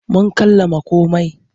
Mun kammala komai.